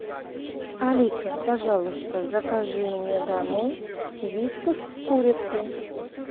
алиса пожалуйста закажи мне домой вискас с курицей